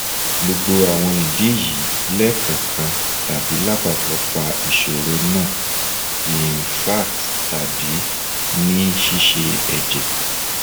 gbogbo awon idi yi lekankan tabi lapapo fa isoro na infarct tabi ni sise eje